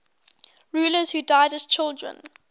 rulers who died as children